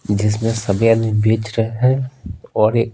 जिसमें सभी आदमी बेच रहे हैं और एक--